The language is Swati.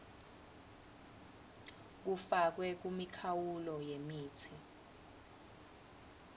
kufakwe kumikhawulo yemitsi